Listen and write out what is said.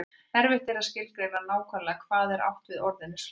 Erfitt er að skilgreina nákvæmlega hvað átt er við með orðinu slangur.